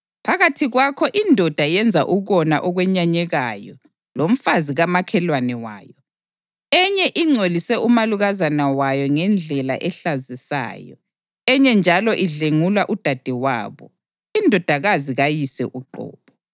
Phakathi kwakho indoda yenza ukona okwenyanyekayo lomfazi kamakhelwane wayo, enye ingcolise umalukazana wayo ngendlela ehlazisayo; enye njalo idlwengula udadewabo, indodakazi kayise uqobo.